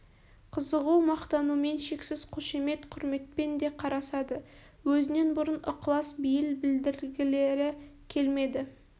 қызығу мақтанумен шексіз қошемет құрметпен де қарасады өзінен бұрын ықылас бейіл білдіргілері келмеді